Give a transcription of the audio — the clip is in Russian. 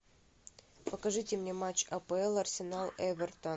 покажите мне матч апл арсенал эвертон